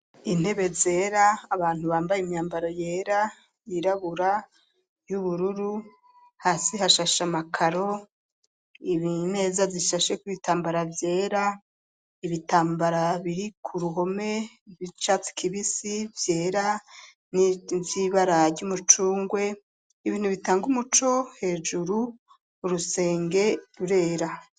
Intebe zera abantu bambaye imyambaro yera, yirabura, y'ubururu hasi hashashe amakaro, imeza zishasheko ibitambara vyera ibitambara biri ku ruhome bicatsi kibisi vyera niz'ibara ry'umucungwe ibintu bitanga umuco hejuru, urusenge rurera.